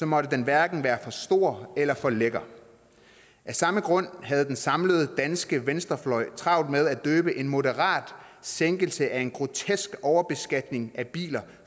måtte den hverken være for stor eller for lækker af samme grund havde den samlede danske venstrefløj travlt med at døbe en moderat sænkelse af en grotesk overbeskatning af biler